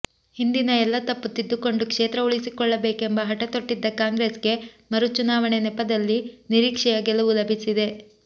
ಹಿಂದಿನ ಎಲ್ಲ ತಪ್ಪು ತಿದ್ದಿಕೊಂಡು ಕ್ಷೇತ್ರ ಉಳಿಸಿಕೊಳ್ಳಬೇಕೆಂಬ ಹಠ ತೊಟ್ಟಿದ್ದ ಕಾಂಗ್ರೆಸ್ಗೆ ಮರು ಚುನಾವಣೆ ನೆಪದಲ್ಲಿ ನಿರೀಕ್ಷೆಯ ಗೆಲುವು ಲಭಿಸಿದೆ